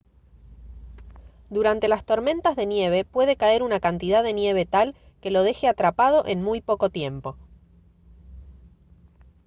durante las tormentas de nieve puede caer una cantidad de nieve tal que lo deje atrapado en muy poco tiempo